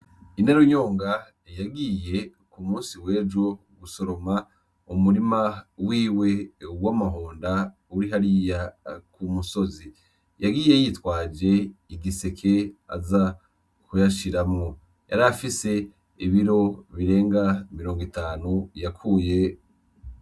Inarunyonga yagiye ku musi w’ejo gusoroma umurima wiwe w’amahonda uri hariya kumusozi. Yagiye yitwaje igiseke aza kuyashiramwo , yarafise ibiro birenga mirongo itanu yakuye.